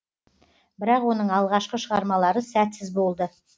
бірақ оның алғашқы шығармалары сәтсіз болды